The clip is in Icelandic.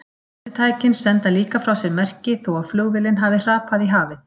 Senditækin senda líka frá sér merki þó að flugvélin hafi hrapað í hafið.